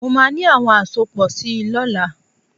Mo máa ní àwọn àsopọ̀ si lọ́la.